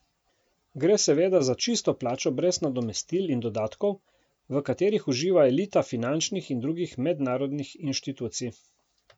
Gre seveda za čisto plačo brez nadomestil in dodatkov, v katerih uživa elita finančnih in drugih mednarodnih inštitucij.